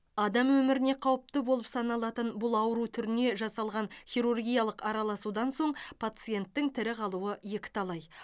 адам өміріне қауіпті болып саналатын бұл ауру түріне жасалған хирургиялық араласудан соң пациенттің тірі қалуы екіталай